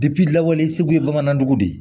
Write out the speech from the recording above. lawale segu ye bamanandugu de ye